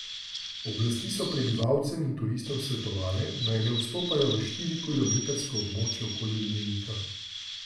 Oblasti so prebivalcem in turistom svetovale, naj ne vstopajo v štirikilometrsko območje okoli ognjenika.